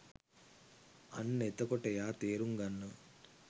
අන්න එතකොට එයා තේරුම් ගන්නවා